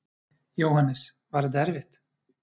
Jóhannes: Var þetta erfitt?